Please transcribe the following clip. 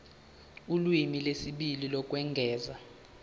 ulimi lwesibili lokwengeza